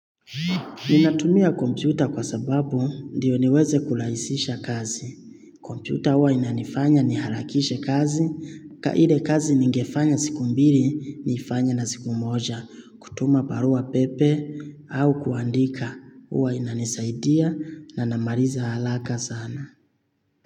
Ninatumia kompyuta kwa sababu ndio niweze kulaisisha kazi. Kompyuta uwa inanifanya niharakishe kazi, ka ile kazi ningefanya siku mbili, nifanya na siku moja, kutuma parua pepe au kuandika. Uwa inanisaidia na namaliza halaka sana.